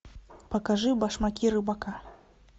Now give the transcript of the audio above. покажи башмаки рыбака